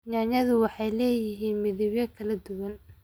Yaanyada waxay leeyihiin midabyo kala duwan.